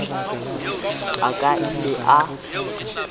a ka a ile a